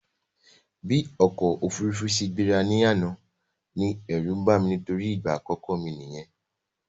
Bí ọ̀kọ̀ ofúrufú ṣe gbéra ní àná ní ẹ̀rú bàmí nítorí ìgbà àkọ́kọ́ mi nìyẹn